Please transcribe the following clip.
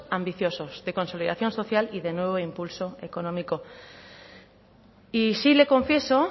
ambiciosos de consolidación social y de nuevo impulso económico y sí le confieso